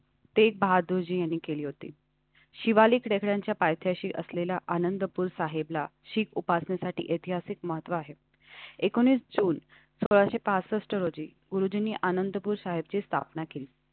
तेग बहादुरजी यांनी केली होती. शिवालिक गडाच्या पायथ्याशी असलेल्या आनंदपुर साहिबला शिक उपासनेसाठी ऐतिहासिक महत्व आहे. एकोणीस जून सहा पासष्ट रोजी उजनी आनंदपुर साहिबची स्थापना केली.